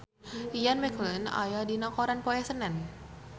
Ian McKellen aya dina koran poe Senen